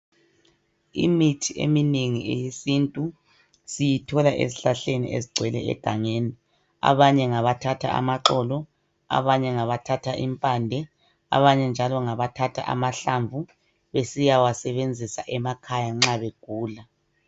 Imithi eminengi eyesintu siyithola ezihlahleni ezigcwele egangeni . Abanye ngabathatha amaxolo, abanye ngabathatha impande abanye njalo ngabathatha amahlamvu, besiyawasebenzisa emakhaya nxa begula.